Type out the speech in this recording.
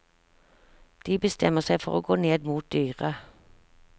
De bestemmer seg for å gå ned mot dyret.